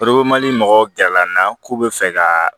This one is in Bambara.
mɔgɔw gɛrɛ lana k'u bɛ fɛ ka